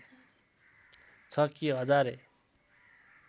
छ कि हजारे